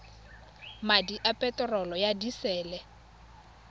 madi a peterolo ya disele